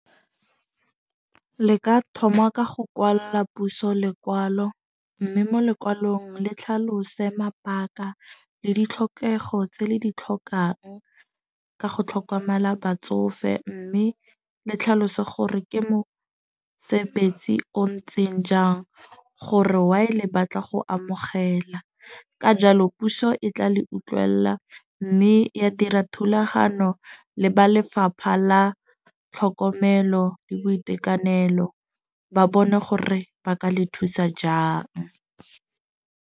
Le ka thoma ka go kwalla puso lekwalo. Mme mo lekwalong le tlhalose mabaka le ditlhokego tse le di tlhokang, ka go tlhokomela batsofe. Mme le tlhalose gore ke mosebetsi o ntseng jang, gore why le batla go amogela. Ka jalo puso e tla le utlwella. Mme ya dira thulagano le ba lefapha la tlhokomelo le boitekanelo. Ba bone gore ba ka le thusa jang.